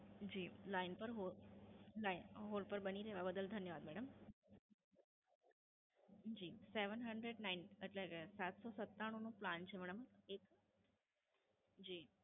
જી, Line પર hold, LineHold પર બની રહેવા બદલ ધન્યવાદ મેડમ. જી, Seven hundred nine એટલે સાતસો સત્તાણુ નો Plan છે મેડમ. એક, જી.